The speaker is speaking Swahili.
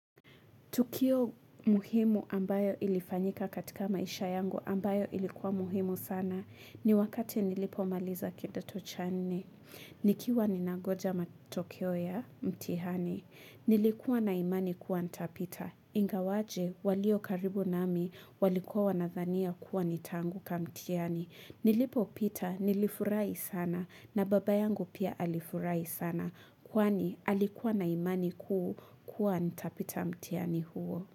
Tukio muhimu ambayo ilifanyika katika maisha yangu ambayo ilikuwa muhimu sana ni wakati nilipomaliza kidoto cha nne. Nikiwa ninangoja matokeo ya mtihani, nilikuwa na imani kuwa nitapita. Ingawaje, walio karibu nami, walikuwa wanadhania kuwa nitanguka mtihani. Nilipopita, nilifurahi sana na baba yangu pia alifurai sana. Kwani alikuwa na imani kuu kuwa nitapita mtihani huo.